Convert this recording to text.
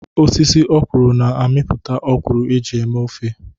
Osisi ọ́kwụrụ̀ na-amịpụta ọ́kwụrụ̀ eji eme ofe.